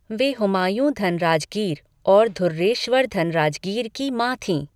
वे हुमायूँ धनराजगीर और धुर्रेश्वर धनराजगीर की माँ थीं।